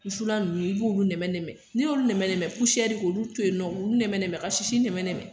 Wusulan ninnu i b'olu nɛmɛn nɛmɛn n'i y'olu nɛmɛn nɛmɛn k'olu to yen nɔn olu nɛmɛn nɛmɛn ka sisi nɛmɛn nɛmɛn.